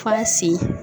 F'a sen